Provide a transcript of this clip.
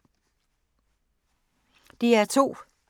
DR2